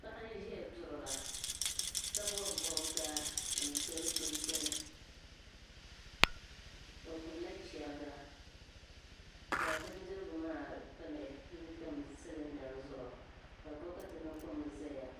Paɣi n zaya n duɣira. kabɔb bɔbiga nsɔ dichinchini, ɔgbu la cheriga. ka bindirigu maa lee tam silinda zuɣu ka bɔkatimi tom zaya.